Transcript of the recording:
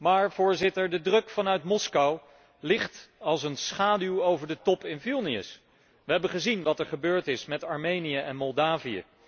Maar, Voorzitter, de druk vanuit Moskou ligt als een schaduw over de top in Vilnius. Wij hebben gezien wat is gebeurd met Armenië en Moldavië.